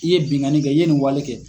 I ye bingani kɛ i ye nin wale kɛ.